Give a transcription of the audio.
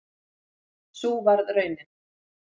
Sú varð raunin